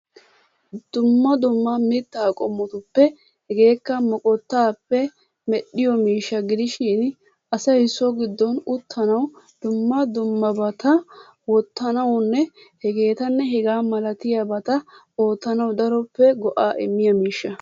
Dumma dumma mittaa qommotuppe hegeekka moqottaappe medhiyoo miishsha gidishin asay so giddon uttanawu dumma dummabata wottanawunne hegeetanne hegaa malatiyabata oottanawu daroppe go"aa immiya miishsha.